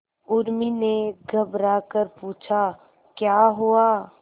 उर्मी ने घबराकर पूछा क्या हुआ